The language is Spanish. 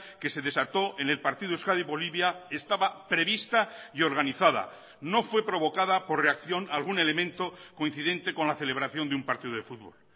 que se desató en el partido euskadi bolivia estaba prevista y organizada no fue provocada por reacción algún elemento coincidente con la celebración de un partido de fútbol